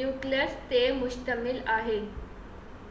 nucleus تي مشتمل آهي جيڪو ڪنهن حد تائين سج جي چوڌاري چڪر لڳائيندڙ سيارن جهڙو آهي شڪل 1.1 ڏسو